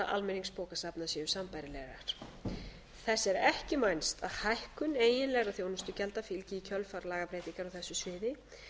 almenningsbókasafna séu sambærilegar þess er ekki vænst að hækkun eiginlegra þjónustugjalda fylgi í kjölfar lagabreytingar á þessu sviði